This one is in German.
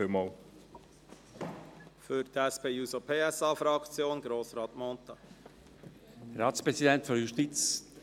Für die SP-JUSO-PSA-Fraktion hat Grossrat Mentha das Wort.